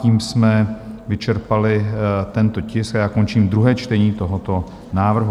Tím jsme vyčerpali tento tisk a já končím druhé čtení tohoto návrhu.